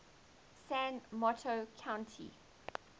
san mateo county